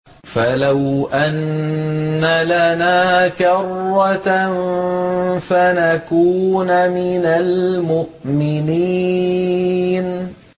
فَلَوْ أَنَّ لَنَا كَرَّةً فَنَكُونَ مِنَ الْمُؤْمِنِينَ